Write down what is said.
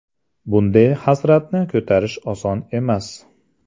Bunday hasratni ko‘tarish oson emas”.